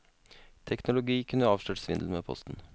Teknologi kunne avslørt svindel med posten.